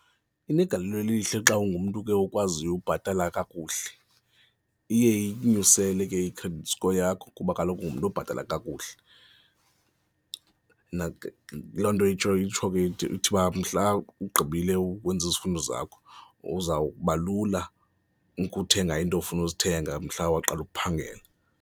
Inegalelo elihle xa ungumntu ke okwaziyo ubhatala kakuhle, iye ikunyusele ke i-credit score yakho kuba kaloku ungumntu obhatala kakuhle. Loo nto itsho itsho ke ithi uba mhla ugqibile ukwenza izifundo zakho kuzawuba lula ukuthenga iinto ofuna ozithenga, mhla waqala ukuphangela.